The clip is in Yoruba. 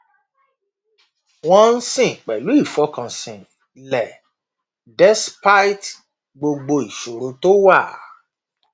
wọn ń sìn pẹlú ìfọkànsìn lẹ despite gbogbo ìṣòro tó wà